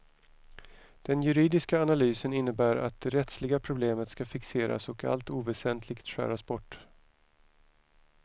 Den juridiska analysen innebär att det rättsliga problemet ska fixeras och allt oväsentligt skäras bort.